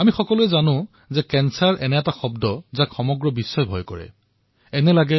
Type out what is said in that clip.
আমি সকলোৱে জানো যে কৰ্কট শব্দটোৱেই বিশ্ববাসীত ভয়ত বিতত কৰিবলৈ যথেষ্ট